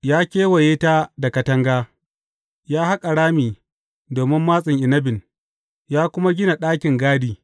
Ya kewaye ta da katanga, ya haƙa rami domin matsin inabin, ya kuma gina ɗakin gadi.